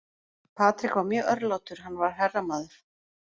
Patrick var mjög örlátur, hann var herramaður.